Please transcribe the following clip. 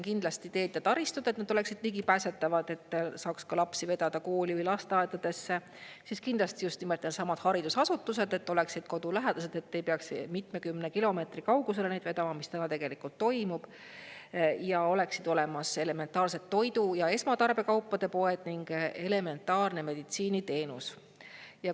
Kindlasti, et teed ja taristu oleksid ligipääsetavad, et saaks lapsi vedada kooli või lasteaedadesse, siis kindlasti just nimelt, et needsamad haridusasutused oleksid kodulähedased, et ei peaks mitmekümne kilomeetri kaugusele neid vedama, mis praegu tegelikult toimub, ning et oleksid olemas elementaarsed toidu- ja esmatarbekaupade poed ning elementaarne meditsiiniteenus.